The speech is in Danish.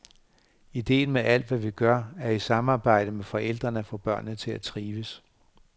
Ideen med alt, hvad vi gør, er i samarbejde med forældrene at få børnene til at trives.